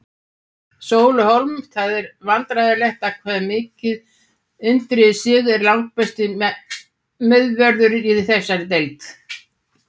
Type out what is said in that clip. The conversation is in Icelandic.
Sóli Hólm Það er vandræðalegt hvað Indriði Sig er langbesti miðvörðurinn í þessari deild.